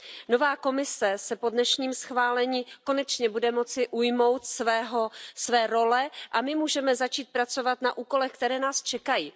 Nová Komise se po dnešním schválení konečně bude moci ujmout své role a my můžeme začít pracovat na úkolech, které nás čekají.